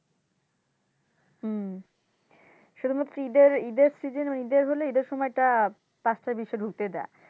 হুম শুধুমাত্র ইদের, ইদের season ইদের সময়টা পাঁচটা বিশে ঢুকতে দেয়।